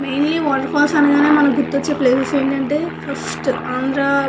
mainly water falls అనగానే మనకి గుర్తొచ్చే ప్లేసెస్ ఏంటంటే ఫస్ట్ ఆంద్ర --